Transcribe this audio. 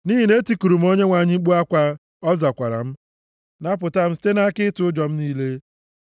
Nʼihi na etikuru m Onyenwe anyị mkpu akwa, ọ zakwara m, napụta m site nʼaka ịtụ ụjọ m niile.